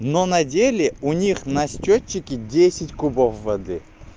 но на деле у них на счётчике десять кубов воды